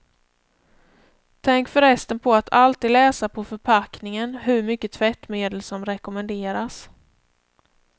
Tänk för resten på att alltid läsa på förpackningen hur mycket tvättmedel som rekommenderas.